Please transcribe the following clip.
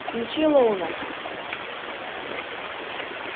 включи лоуна